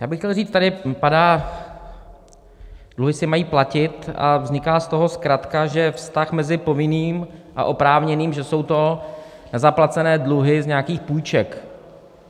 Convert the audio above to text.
Já bych chtěl říct, tady padá: dluhy se mají platit a vzniká z toho zkratka, že vztah mezi povinným a oprávněným, že jsou to nezaplacené dluhy z nějakých půjček.